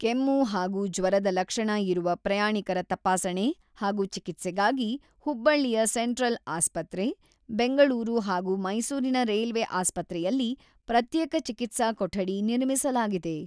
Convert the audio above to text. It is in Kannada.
ಕೆಮ್ಮು ಹಾಗೂ ಜ್ವರದ ಲಕ್ಷಣ ಇರುವ ಪ್ರಯಾಣಿಕರ ತಪಾಸಣೆ ಹಾಗೂ ಚಿಕಿತ್ಸೆಗಾಗಿ ಹುಬ್ಬಳ್ಳಿಯ ಸೆಂಟ್ರಲ್ ಆಸ್ಪತ್ರೆ, ಬೆಂಗಳೂರು ಹಾಗೂ ಮೈಸೂರಿನ ರೈಲ್ವೆ ಆಸ್ಪತ್ರೆಯಲ್ಲಿ ಪ್ರತ್ಯೇಕ ಚಿಕಿತ್ಸಾ ಕೊಠಡಿ ನಿರ್ಮಿಸಲಾಗಿದೆ.